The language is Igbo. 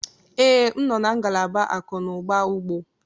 Ee, m nọ na ngalaba akụ na ụba ugbo